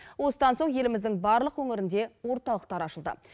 осыдан соң еліміздің барлық өңірінде орталықтар ашылды